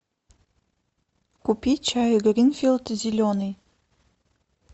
купи чай гринфилд зеленый